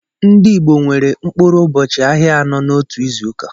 Ndị Igbo nwere mkpụrụ ụbọchị ahịa anọ n'otu izuụka.